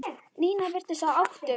Nína virtist á báðum áttum.